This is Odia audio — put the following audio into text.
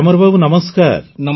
ଗ୍ୟାମର୍ ବାବୁ ନମସ୍କାର